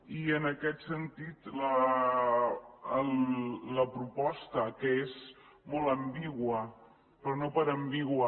i en aquest sentit la proposta que és molt ambigua però no per ambigua